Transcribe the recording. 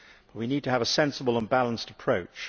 We need to have a sensible and balanced approach.